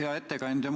Hea ettekandja!